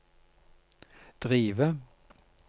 drive